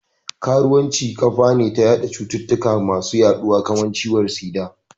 Karuwanci kafane na watsa cututtuka masu yaduwa kamar ciwon tsida